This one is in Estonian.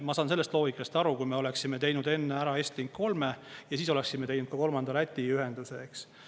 Ma saan sellest loogikast aru, kui me oleksime teinud enne ära Estlink 3 ja siis oleksime teinud ka kolmanda Läti ühenduse, eks.